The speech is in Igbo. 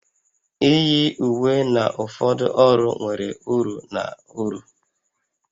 Iyi uwe na ụfọdụ ọrụ nwere uru na uru